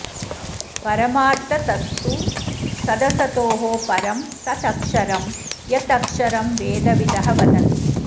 परमार्थतस्तु सदसतोः परं तत् अक्षरं यत् अक्षरं वेदविदः वदन्ति